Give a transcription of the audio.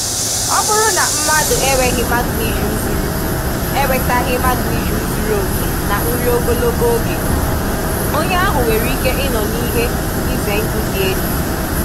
Ọ bụrụ na mmadụ enwetaghị magnesium zuru enwetaghị magnesium zuru oke na nri ogologo oge, onye ahụ nwere ike ịnọ n'ihe ize ndụ dị elu